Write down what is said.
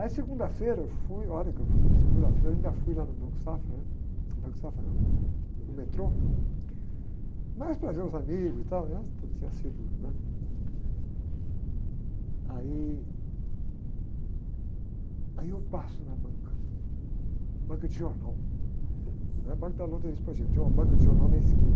Aí segunda-feira eu fui, olha que eu fui, segunda-feira eu ainda fui lá no Banco Safra, né? No Banco Safra não, né? No metrô, mais para ver os amigos e tal, tudo tinha sido, né? Aí, aí eu passo na banca, banca de jornal, não é banca da loteria, tinha uma banca de jornal na esquina,